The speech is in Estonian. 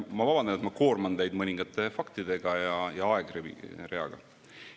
Ma vabandan, et ma koorman teid mõningate faktide ja aegreaga.